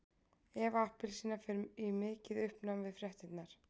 Eva appelsína fer í mikið uppnám við fréttirnar.